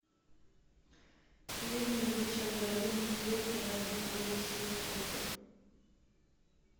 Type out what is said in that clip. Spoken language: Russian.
фильм ричарда линклейтера битва за севастополь